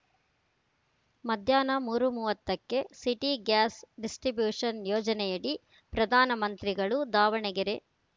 ಮಧ್ಯಾಹ್ನ ಮೂರು ಮೂವತ್ತಕ್ಕೆ ಸಿಟಿ ಗ್ಯಾಸ್‌ ಡಿಸ್ಟ್ರಿಬ್ಯೂಷನ್‌ ಯೋಜನೆಯಡಿ ಪ್ರಧಾನ ಮಂತ್ರಿಗಳು ದಾವಣಗೆರೆ